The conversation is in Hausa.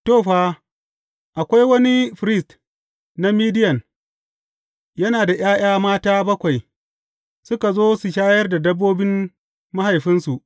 To, fa, akwai wani firist na Midiyan, yana da ’ya’ya mata bakwai, suka zo su shayar da dabbobin mahaifinsu.